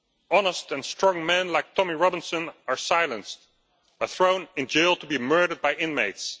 does. Honest and strong men like Tommy Robinson are silenced and thrown in jail to be murdered by